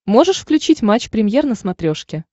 можешь включить матч премьер на смотрешке